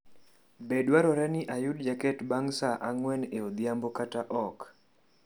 Be dwarore ni ayud jaket bang’ saa ang’wen e odhiambo kata ok?